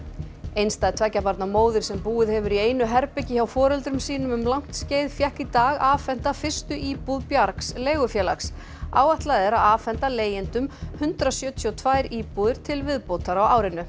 einstæð tveggja barna móðir sem búið hefur í einu herbergi hjá foreldrum sínum um langt skeið fékk í dag afhenta fyrstu íbúð bjargs leigufélags áætlað er að afhenda leigjendum hundrað sjötíu og tvær íbúðir til viðbótar á árinu